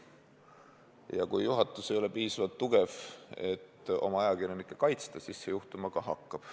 Ja kui juhatus ei ole piisavalt tugev, et oma ajakirjanikke kaitsta, siis seda juhtuma ka hakkab.